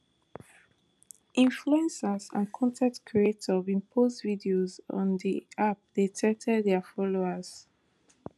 influencers and con ten t creators bin post videos on di app dey tell tell dia followers